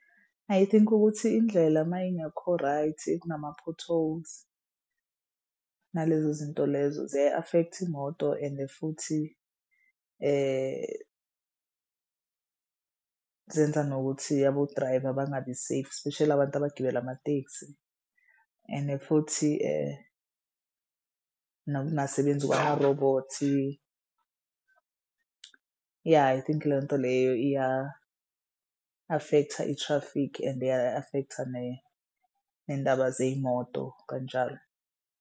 I think ukuthi indlela uma ingekho right kunama-potholes nalezo zinto lezo ziyayi-affect imoto ende futhi zenza nokuthi abo-driver bangabi-safe espeshali abantu abagibela amatekisi endi futhi nokungasebenzi kwamarobhothi. Yah I think leyo nto leyo iya-affect-a i-traffic and iya-affect-a nendaba zey'moto kanjalo.